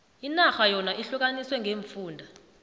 inarha yona ihlukaniswe ngeemfunda